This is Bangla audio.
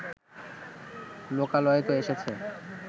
লোকালয়ে তো এসেছে